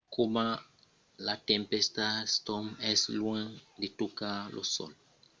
coma la tempèsta storm es luènh de tocar lo sòl demòra malaisit de determinar l’impacte potencial suls estats units o la cariba